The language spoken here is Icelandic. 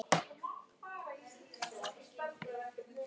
Hún hefur oft reddað mér.